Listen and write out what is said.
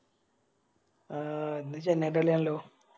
ആ ഇന്ന് ചെന്നൈൻറെ കളിയാണല്ലോ